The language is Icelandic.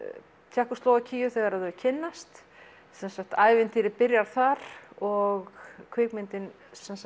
Tékkóslóvakíu þegar þau kynnast sem sagt ævintýrið byrjar þar og kvikmyndin